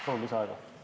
Palun lisaaega!